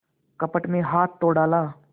कपट में हाथ तो डाला